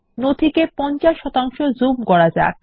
নথিকে 50 zoom করা যাক